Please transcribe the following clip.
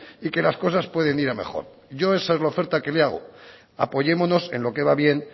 y que las cosas pueden ir a mejor yo esa es la oferta que le hago apoyémonos en lo que va bien